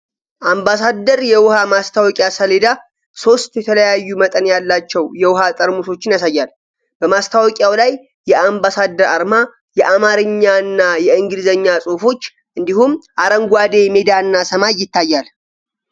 አምባሳደር የውሃ ማስታወቂያ ሰሌዳ ሶስት የተለያዩ መጠን ያላቸው የውሃ ጠርሙሶችን ያሳያል። በማስታወቂያው ላይ የአምባሳደር አርማ፣ የአማርኛና የእንግሊዝኛ ጽሑፎች፣ እንዲሁም አረንጓዴ ሜዳና ሰማይ ይታያሉ።